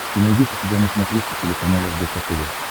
ты найдешь у себя на смотрешке телеканал рбк тв